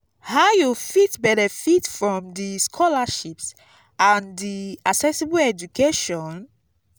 how you fit benefit from di scholarships and di accessible education?